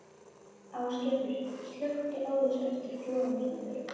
Ásgerður, slökktu á þessu eftir fjórar mínútur.